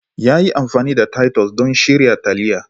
Ya yi amfani da titus don shirya taliya.